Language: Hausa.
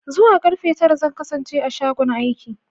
Zuwa karfe tara zan kasance a shagon aiki.